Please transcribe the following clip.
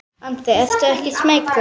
Andri: Ertu ekkert smeykur?